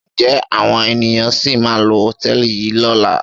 Ǹjẹ́ àwọn ènìyàn sì máa lo hòtẹ́ẹ̀lì yìí lọ́la?